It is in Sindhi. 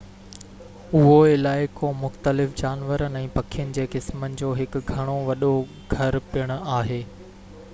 اهو علائقو مختلف جانورن ۽ پکين جي قسمن جو هڪ گهڻو وڏو گهر پڻ آهي